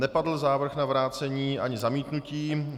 Nepadl návrh na vrácení ani zamítnutí.